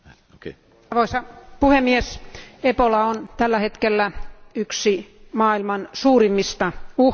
Arvoisa puhemies, Ebola on tällä hetkellä yksi maailman suurimmista uhkista.